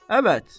Əvət.